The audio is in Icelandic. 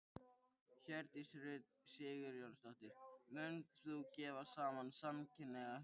Hjördís Rut Sigurjónsdóttir: Munt þú gefa saman samkynhneigð hjón?